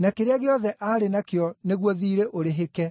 na kĩrĩa gĩothe aarĩ nakĩo nĩguo thiirĩ ũrĩhĩke.